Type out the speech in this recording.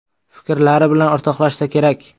Fikrlari bilan o‘rtoqlashsa kerak?